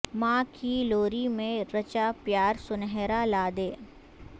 ماں کی لوری میں رچا پیار سنہرا لا دے